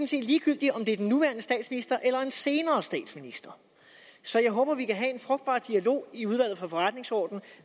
set ligegyldigt om det er den nuværende statsminister eller en senere statsminister så jeg håber at vi kan have en frugtbar dialog i udvalget for forretningsordenen